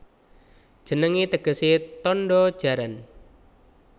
Jenengé tegesé Tandha Jaran